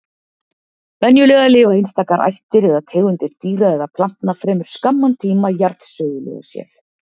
Venjulega lifa einstakar ættir eða tegundir dýra eða plantna fremur skamman tíma jarðsögulega séð.